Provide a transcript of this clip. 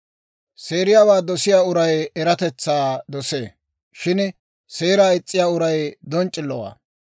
Seeriyaawaa dosiyaa uray eratetsaa dosee; shin seeraa is's'iyaa uray donc'c'illowaa.